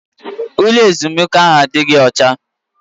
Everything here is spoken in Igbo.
Ụlọ ezumike ahụ adịghị ọcha.